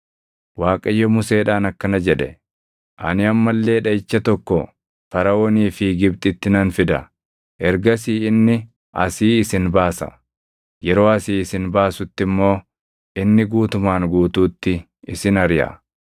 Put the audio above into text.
Waaqayyo Museedhaan akkana jedhe; “Ani amma illee dhaʼicha tokko Faraʼoonii fi Gibxitti nan fida. Ergasii inni asii isin baasa; yeroo asii isin baasutti immoo inni guutumaan guutuutti isin ariʼa.